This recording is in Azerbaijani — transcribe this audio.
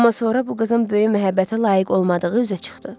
Amma sonra bu qızın böyük məhəbbətə layiq olmadığı üzə çıxdı.